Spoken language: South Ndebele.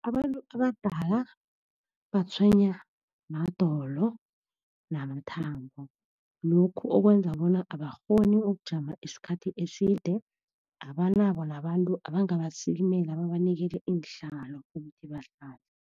Abantu abadala batshwenywa madolo namathambo. Lokhu okwenza bona abakghoni ukujama isikhathi eside, abanabo nabantu abangabasikimela babanikele iinhlalo ukuthi bahlale.